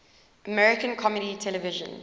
american comedy television